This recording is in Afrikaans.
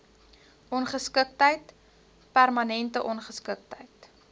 ongeskiktheid permanente ongeskiktheid